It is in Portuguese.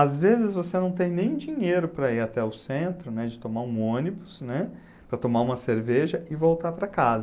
Às vezes você não tem nem dinheiro para ir até o centro, né, de tomar um ônibus, né, para tomar uma cerveja e voltar para casa.